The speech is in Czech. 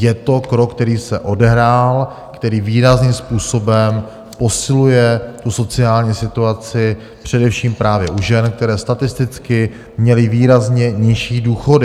Je to krok, který se odehrál, který výrazným způsobem posiluje tu sociální situaci především právě u žen, které statisticky měly výrazně nižší důchody.